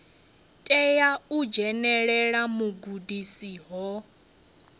tea u dzhenelela vhugudisi ho